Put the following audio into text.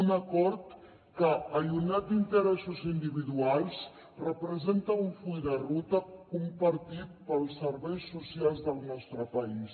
un acord que allunyat d’interessos individuals representa un full de ruta compartit pels serveis socials del nostre país